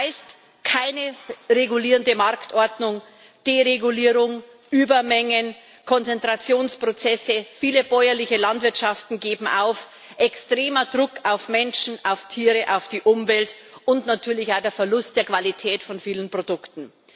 Das heißt keine regulierende Marktordnung, Deregulierung, Übermengen, Konzentrationsprozesse, viele bäuerliche Landwirtschaften geben auf, extremer Druck auf Menschen, auf Tiere, auf die Umwelt, und natürlich auch der Verlust der Qualität von vielen Produkten.